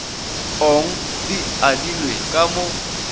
ong di adilwe ka mo